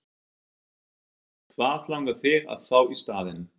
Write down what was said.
Karen: Hvað langar þig að fá í staðinn?